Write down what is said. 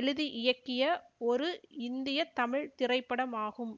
எழுதி இயக்கிய ஒரு இந்திய தமிழ் திரைப்படம் ஆகும்